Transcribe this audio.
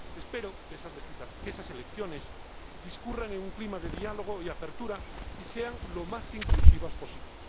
Espero que esas elecciones discurran en un clima de diálogo y apertura, y sean lo más inclusivas posible.